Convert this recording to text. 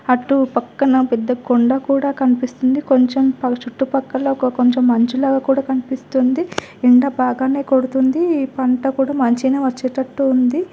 అటు పక్కన పెద్ద కొండ కూడా కనిపిస్తున్నది కొంచం చుట్టూ పక్కలా కొంచం మంచులాగ కూడా కనిపిస్తుంది ఎండా బాగానే కొడ్తుంది పంట కూడా మంచిగానే వచ్చేటట్టు ఉంది.